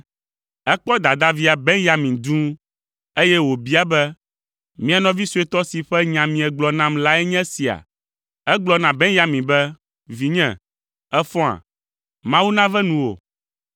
Ekpɔ dadavia, Benyamin dũu, eye wòbia be, “Mia nɔvi suetɔ si ƒe nya miegblɔ nam lae nye esia?” Egblɔ na Benyamin be, “Vinye, èfɔa? Mawu nave nuwò.”